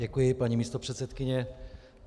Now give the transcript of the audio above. Děkuji, paní místopředsedkyně.